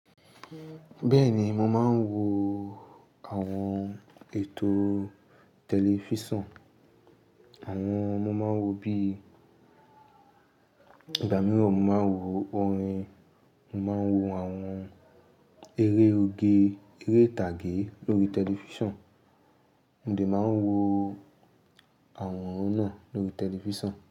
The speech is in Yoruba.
Bẹ́ẹ̀ni, mó máa ń wò àwọn ètò tẹlifísàn. Àwọn mó máa ń wó bí, ìgbà mìíràn mó máa ń wó òrín, mó máa ń wó àwọn èré ógé, eré ìtàgé lórí tẹlifísàn. Òde máa ń wó àwọn ọ̀ún nà lórí tẹlifísàn.